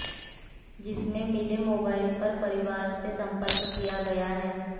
जिसमें मिले मोबाइल से परिवार से संपर्क किया गया है